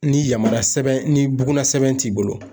Ni yamaruyasɛbɛn ni bugunnasɛbɛn t'i bolo